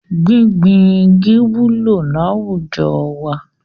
Gbíngbin igi wúlò láwùjọ wa.